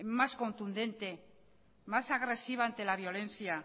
más contundente más agresiva ante la violencia